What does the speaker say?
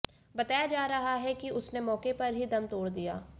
बताया जा रहा है कि उसने मौके पर ही दम तोड़ दिया